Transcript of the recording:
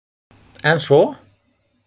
En svo?